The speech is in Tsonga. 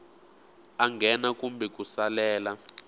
a nghena kumbe ku salela